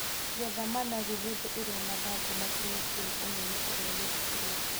Getha managu hĩndĩ ĩrĩa mathangũ makinyĩtie ũnene ũrĩa wĩtĩkĩrĩtio.